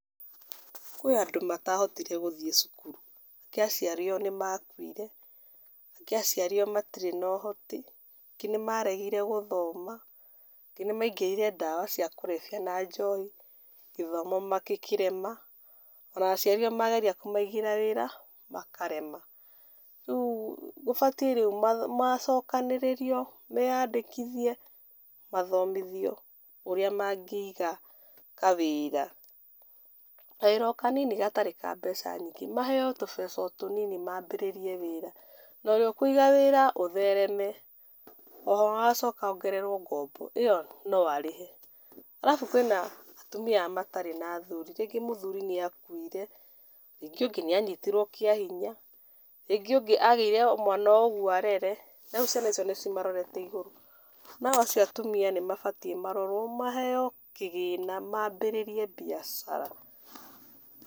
Kwĩ andũ matahotire gũthiĩ cukurũ, angĩ aciari ao nĩmakuire, angĩ aciari ao matirĩ na ũhoti, angĩ nĩmaregire gũthoma, angĩ nĩmaingĩrĩire ndawa cia kũrebia na njohi, gĩthomo makĩkĩrema, ona aciari ao mageria kũmaigĩra wĩra, makarema. Rĩũ gũbatiĩ rĩũ macokanĩrĩrio, meyandĩkithie, mathomithio, ũrĩa magĩiga kawĩra, kawĩra o kanini gatarĩ ka mbeca nyingĩ, maheo o tũbeca o tũnini mambĩrĩrie wĩra. Na ũrĩa akũiga wĩra athereme, agacoka ongererwo ngombo. Ĩyo no arĩhe. Arabu kwĩna atumia aya matarĩ na athuri. Rĩngĩ mũthuri nĩakuire, rĩngĩ ũngĩ nĩanyitirwo kĩa hinya, rĩngĩ ũngĩ agĩire o mwana ũmwe arere, rĩu ciana icio nĩcimarorete igũrũ, nao acio atumia nĩ mabatiĩ marorwo, maheo kĩgĩna mambĩrĩrie biacara.